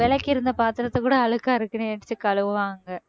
விளக்கியிருந்த பாத்திரத்தைக் கூட அழுக்கா இருக்குன்னு எடுத்து கழுவுவாங்க